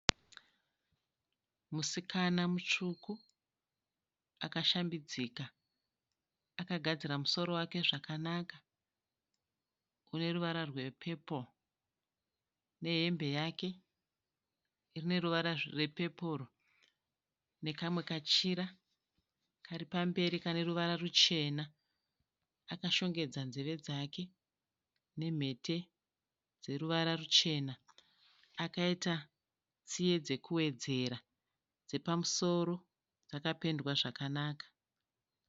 Musikana mutsvuku akashambidzika. Akagadzira musoro wake zvakanaka uneruvara rwepepuro. Nehembe yake ineruvara rwepepuro. Nekamwe kachira karipamberi kaneruvara ruchena. Akashongedza nzeve dzake nemhete dzeruvara ruchena. Akaita tsiye dzekuwedzera. Dzepamusoro dzakapendwa zvakanaka.